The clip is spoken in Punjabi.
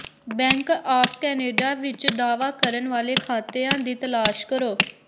ਬੈਂਕ ਆਫ਼ ਕਨੇਡਾ ਵਿੱਚ ਦਾਅਵਾ ਕਰਨ ਵਾਲੇ ਖਾਤਿਆਂ ਦੀ ਤਲਾਸ਼ ਕਰੋ